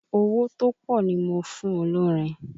Owó tó pọ̀ ni mo fún olórin